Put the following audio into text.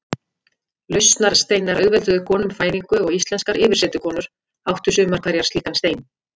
Lausnarsteinar auðvelduðu konum fæðingu og íslenskar yfirsetukonur áttu sumar hverjar slíkan stein.